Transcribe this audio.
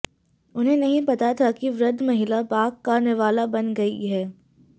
उन्हें नही पता था कि वृद्ध महिला बाघ का निवाला बन गई है